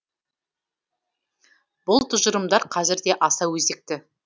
бұл тұжырымдар қазір де аса өзекті